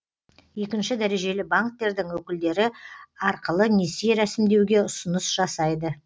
екінші дәрежелі банктердің өкілдері арқылы несие рәсімдеуге ұсыныс жасайды